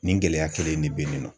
Nin gɛlɛya kelen in de be yen nɔ.